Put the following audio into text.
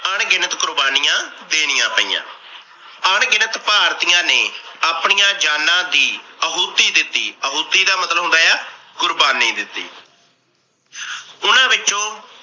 ਅਣਗਿਣਤ ਕੁਰਬਾਨੀਆਂ ਦੇਣੀਆਂ ਪਈਆਂ। ਅਣਗਿਣਤ ਭਾਰਤੀਆਂ ਨੇ ਆਪਣੀਆਂ ਜਾਨਾ ਦੀ ਅਹੁਤੀ ਦਿੱਤੀ। ਅਹੁਤੀ ਦਾ ਮਤਲਬ ਹੁੰਦਾ ਆ ਕੁਰਬਾਨੀ ਦਿੱਤੀ। ਉਹਨਾਂ ਵਿੱਚੋ